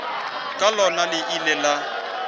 ka lona le ile la